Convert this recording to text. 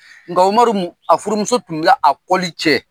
Nka Umaru a furumuso tun bɛ a i cɛ.